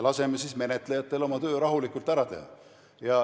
Laseme siis menetlejatel oma töö rahulikult ära teha.